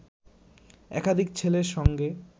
একাধিক ছেলের সঙ্গে